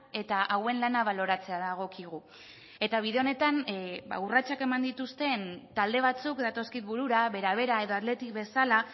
eta hauen lana baloratzea dagokigu eta bide honetan ba urratsak eman dituzten talde batzuk datozkit burura bera bera edo athletic bezala